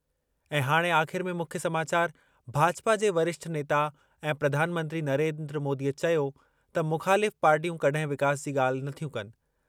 ऐं हाणे आख़िर में मुख्य समाचार भाजपा जे वरिष्ठ नेता ऐं प्रधान मंत्री नरेंद्र मोदीअ चयो त मुख़ालिफ़ पार्टियूं कड॒हिं विकास जी ॻाल्हि नथियूं कनि।